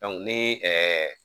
ni